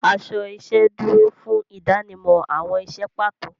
Aṣọ iṣẹ́ dúró fún ìdánimọ̀ àwọn iṣẹ́ pàtó.